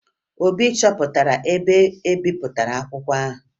Obinna chọpụtara ebe e bipụtara akwụkwọ ahụ